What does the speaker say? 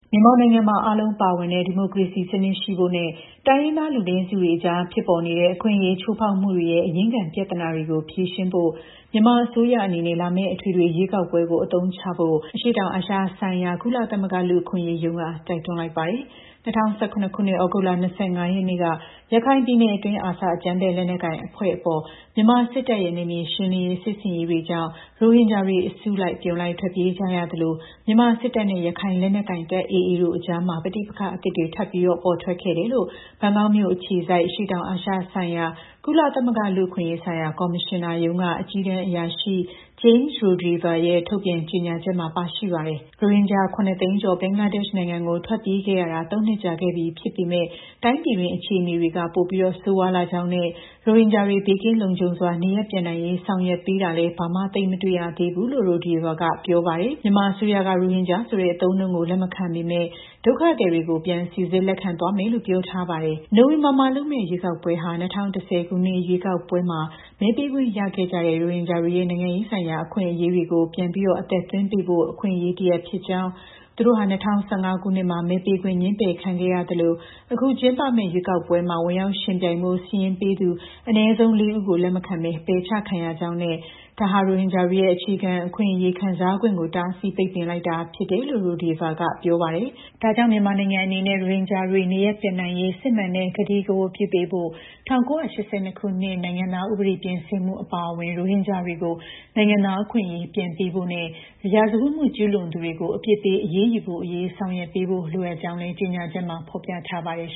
မြန်မာနိုင်ငံမှာ အားလုံးပါဝင်တဲ့ ဒီမိုကရေစီ အပြည့်အဝ ဖော်ဆောင်ရေးနဲ့ တိုင်းရင်းသား လူနည်းစုတွေအကြား ဖြစ်ပေါ်နေတဲ့ အခွင့်အရေး ချိုးဖောက်မှုတွေရဲ့ အရင်းခံ ပြဿနာတွေကို ဖြေရှင်းရေး မြန်မာအစိုးရအနေနဲ့ လာမယ့် အထွေထွေရွေးကောက်ပွဲကို အခွင့်အလန်းတရပ်အဖြစ် အသုံးချဖို့ အရှေ့တောင်အာရှဆိုင်ရာ ကုလသမဂ္ဂ လူ့အခွင့်အရေးရုံးက တိုက်တွန်းလိုက်ပါတယ်။ ၂၀၁၇ ခုနှစ် ဩဂုတ်လ ၂၅ ရက်နေ့က ရခိုင်ပြည်နယ်အတွင်း ARSA အကြမ်းဖက်လက်နက်ကိုင်အဖွဲ့ အပေါ် မြန်မာစစ်တပ်ရဲ့ နယ်မြေရှင်းလင်းရေး စစ်ဆင်ရေးတွေကြောင့် ရိုဟင်ဂျာတွေ အစုလိုက် အပြုံလိုက် ထွက်ပြေးကြရသလို မြန်မာစစ်တပ်နဲ့ ရခိုင်လက်နက်ကိုင်တပ် AAတို့အကြား ပဋိပက္ခအသစ်တွေ ထပ်ပြီးပေါ်ထွက်လာခဲ့တယ်လို့ ဘန်ကောက်မြို့အခြေစိုက် အရှေ့တောင်အာရှဒေသ၊ ကုလသမဂ္ဂ လူ့အခွင့်အရေးဆိုင်ရာ ကော်မရှင်နာရုံးက အကြီးတန်းအရာရှိ James Rodehaver ရဲ့ ဒီကနေ့ထုတ်ပြန် ကြေညာချက်မှာ ပါရှိပါတယ်။ ရိုဟင်ဂျာ ၇၂၀,၀၀၀ ဘင်္ဂလားဒေ့ရှ်နိုင်ငံကို ထွက်ပြေးခဲ့ကြရတာ ၃ နှစ်ကြာခဲ့ပြီ ဖြစ်ပေမဲ့ တိုင်းပြည်တွင်း အခြေအနေတွေက ပိုပြီး ဆိုးရွားလာကြောင်းနဲ့ ရိုဟင်ဂျာတွေ ဘေးကင်းလုံခြုံစွာ နေရပ်ပြန်နိုင်ရေး ဆောင်ရွက်ပေးတာလည်း ဘာမှ သိပ်မတွေ့သေးဘူးလို့ Rodehaver က ပြောပါတယ်။ မြန်မာအစိုးရက ရိုဟင်ဂျာဆိုတဲ့ အသုံးအနှုန်းကို လက်မခံပေမဲ့ ဒုက္ခသည်တွေကို ပြန်စိစစ်လက်ခံသွားမယ်လို့ ပြောထားပါတယ်။ နိုဝင်ဘာလမှာလုပ်မယ့် ရွေးကောက်ပွဲဟာ ၂၀၁၀ ခုနှစ် ရွေးကောက်ပွဲမှာ မဲပေးခွင့်ရရှိခဲ့ကြတဲ့ ရိုဟင်ဂျာတွေရဲ့ နိုင်ငံရေးဆိုင်ရာ အခွင့်အရေးတွေကို ပြန်လည် အသက်သွင်းပေးဖို့ အခွင့်အရေး တရပ်ဖြစ်ကြောင်း၊ သူတို့ဟာ ၂၀၁၅ ခုနှစ်မှာ မဲပေးခွင့် ငြင်းပယ်ခံခဲ့ရသလို အခု ကျင်းပမယ့် ရွေးကောက်ပွဲမှာ ဝင်ရောက် ယှဉ်ပြိုင်ဖို့ စာရင်းပေးသူ အနည်းဆုံး ၄ ဦးကို လက်မခံဘဲ ပယ်ချခံရကြောင်းနဲ့ ဒါဟာ ရိုဟင်ဂျာတွေရဲ့ အခြေခံ အခွင့်အရေးကို တားဆီး ပိတ်ပင်လိုက်တာဖြစ်တယ်လို့လည်း OHCHR အကြီးတန်း အရာရှိက ပြောပါတယ်။ ဒါကြောင့် မြန်မာနိုင်ငံအနေနဲ့ ရိုဟင်ဂျာတွေ နေရပ်ပြန်နိုင်ရေး စစ်မှန်တဲ့ ဂတိကဝတ်ပြု ပေးဖို့၊ ၁၉၈၂ နိုင်ငံသားဥပဒေ ပြင်ဆင်မှုအပါအဝင် ရိုဟင်ဂျာတွေကို နိုင်ငံသား အခွင့်အရေး ပြန်ပေးဖို့နဲ့ ရာဇဝတ်မှု ကျူးလွန်သူတွေကို အပြစ်ပေး အရေးယူဖို့အရေး ဆောင်ရွက်ပေးဖို့ လိုအပ်ကြောင်းလည်း OCHR အကြီးတန်းအရာရှိ James Rodehaver ရဲ့ ကြေညာချက်မှာ ဖော်ပြထားပါတယ်